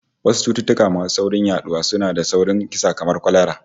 Wasu cututtuka masu sauri yaduwa sua da sauri kisa kamar kwalara